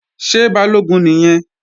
Ṣé Balógun nìyẹn?